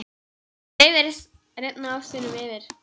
Dreifið rifna ostinum yfir.